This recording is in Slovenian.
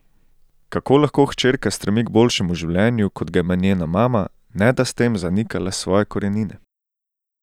Kako lahko hčerka stremi k boljšemu življenju, kot ga ima njena mama, ne da s tem zanikala svoje korenine?